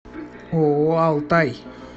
ооо алтай